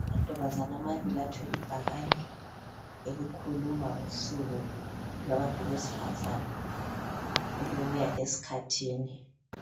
Abantombaza amabili athwele ibhakane elikhuluma ngosuku kwabantu besifazana elokuya esikhathini